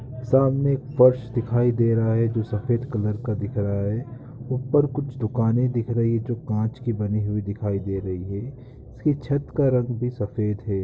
सामने एक फर्श दिखाई दे रहा है जो सफेद कलर का दिख रहा है। ऊपर कुछ दुकानें दिख रही हैं जो कांच की बनी हुई दिखाई दे रही है उसकी छत का रंग भी सफेद है।